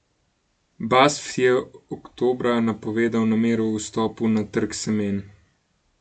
Basf je oktobra napovedal namero o vstopu na trg semen.